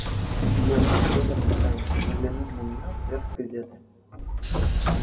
её муж вытянув шею взглянул на неё поверх газеты